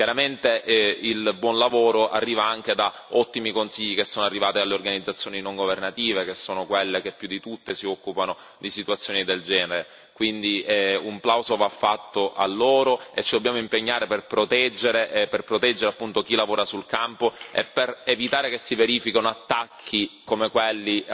Chiaramente il buon lavoro arriva anche da ottimi consigli che sono arrivati alle organizzazioni non governative, che sono quelle che più di tutte si occupano di situazioni del genere, quindi un plauso va fatto a loro e ci dobbiamo impegnare per proteggere chi lavora sul campo e per evitare che si verifichino attacchi come quelli